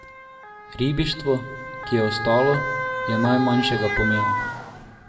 Ribištvo, ki je ostalo, je najmanjšega pomena.